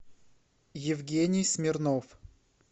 евгений смирнов